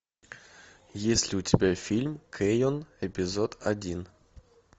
есть ли у тебя фильм кэйон эпизод один